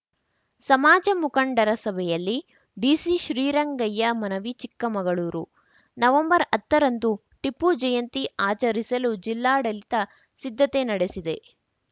ಸಮಾಜ ಮುಖಂಡರ ಸಭೆಯಲ್ಲಿ ಡಿಸಿ ಶ್ರೀರಂಗಯ್ಯ ಮನವಿ ಚಿಕ್ಕಮಗಳೂರು ನವೆಂಬರ್ಹತ್ತರಂದು ಟಿಪ್ಪು ಜಯಂತಿ ಆಚರಿಸಲು ಜಿಲ್ಲಾಡಳಿತ ಸಿದ್ಧತೆ ನಡೆಸಿದೆ